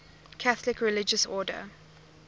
catholic religious order